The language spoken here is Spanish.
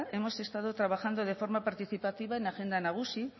hemos estado trabajando de forma participativa en la agenda nagusi